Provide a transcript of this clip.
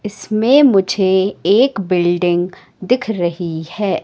इसमें मुझे एक बिल्डिंग दिख रही है।